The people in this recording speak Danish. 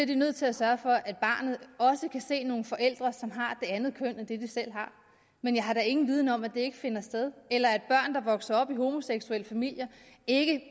de nødt til at sørge for at barnet også kan se nogle forældre som har et andet køn end det de selv har men jeg har da ingen viden om at det ikke finder sted eller at børn der vokser op i homoseksuelle familier ikke